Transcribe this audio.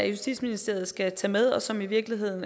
justitsministeriet skal tage med og som i virkeligheden